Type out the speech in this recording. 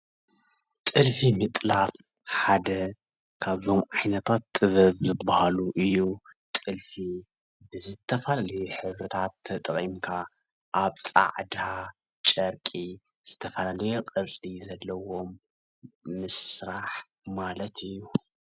ጥልፊ ምጥላፍ ሓደ ካብቶም ዓይነታት ጥበብ ሓደ ካብ ዝበሃሉ እዩ። ጥልፊ ዝተፈላለይ ሕብሪታት ተጠቂምካ አብ ፃዕዳ ጨርቂ ዝተፈላለየ ቅርፂ ዘለዎም ምስራሕ ማለት እዩ።